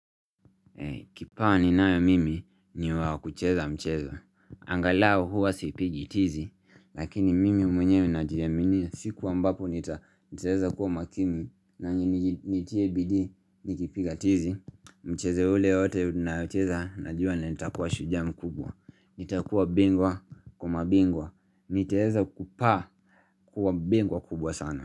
Kipawa ni nayo mimi ni wakucheza mchezo angalau huwa siipigi tizi Lakini mimi mwenye najiyaminia siku ambapo nita Niteeza kuwa makini na nitiye bidii nikipiga tizi Mcheze ule wote unayocheza na juwa na nitakuwa shujaa mukubwa nitakuwa bingwa kwamabingwa nitaeza kupaa kuwa bingwa kubwa sana.